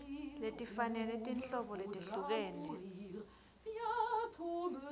letifanele tinhlobo letehlukene